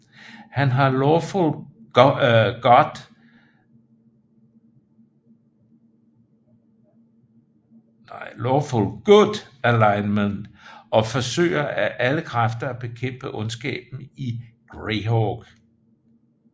Han har Lawful Good alignment og forsøger af alle kræfter at bekæmpe ondskaben i Greyhawk